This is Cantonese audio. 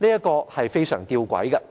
這是非常弔詭的。